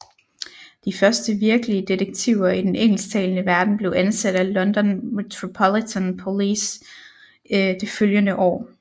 De første virkelige detektiver i den engelsktalende verden blev ansat af London Metropolitan Police det følgende år